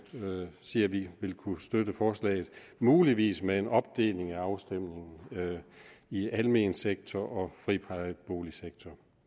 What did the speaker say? sige at vi vil kunne støtte forslaget muligvis med en opdeling ved afstemningen i almen sektor og friplejeboligsektor